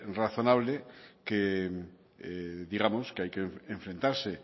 razonable que digamos que hay que enfrentarse